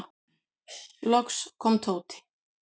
Loks kom Tóti.